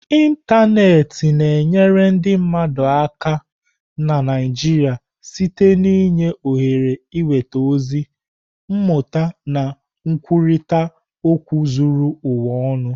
Ịntanetị na-enyere ndị mmadụ aka na Naijiia site n'inye ohere ịnweta ozi, mmụta na nkwurịta okwu zuru ụwa ọnụ.